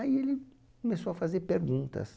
Aí ele começou a fazer perguntas.